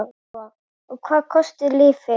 Lóa: Og hvað kostar lyfið?